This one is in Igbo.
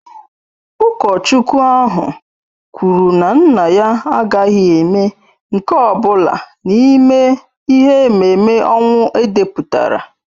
Ụkọchukwu ahụ kwuru na nna ya agaghị eme nke ọ bụla n'ime ihe ememme ọnwụ edepụtara